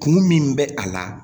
Kun min bɛ a la